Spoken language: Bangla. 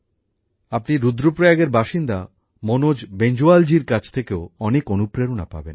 আপনি রুদ্রপ্রয়াগের বাসিন্দা মনোজ বেঞ্জওয়ালজির কাছ থেকেও অনেক অনুপ্রেরণা পাবেন